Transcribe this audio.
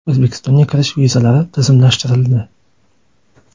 O‘zbekistonga kirish vizalari tizimlashtirildi.